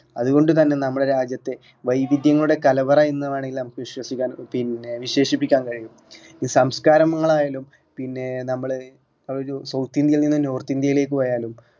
അതുകൊണ്ട് തന്നെ നമ്മുടെ രാജ്യത്തെ വൈവിധ്യങ്ങളുടെ കലവറ എന്ന് വേണെങ്കിൽ നമുക്ക് വിശ്വസിക്കാൻ പിന്നെ വിശേഷിപ്പിക്കാൻ കഴിയൂ. ഈ സംസ്കാരങ്ങൾ ആയാലും പിന്നെ നമ്മള് ഒരു south ഇന്ത്യയിൽ നിന്ന് north ഇന്ത്യയിലേക്ക് പോയാലും